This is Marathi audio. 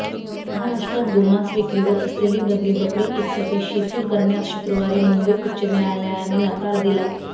महाराष्ट्रात गोमांस विक्रीवर असलेली बंदी बकरी ईदसाठी शिथिल करण्यास शुक्रवारी मुंबई उच्च न्यायालयाने नकार दिला